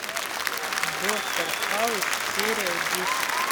доктор хаус серия десять